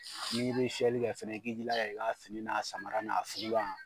N'i be fiyɛli kɛ fɛnɛ i k'i jilaja i b'a fini n'a samara n'a fugulan